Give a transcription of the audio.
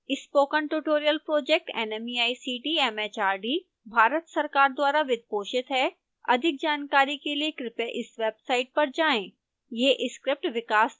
spoken tutorial project nmeict mhrd Bharat सरकार द्वारा वित्त पोषित है अधिक जानकारी के लिए कृपया इस वेबसाइट पर जाएं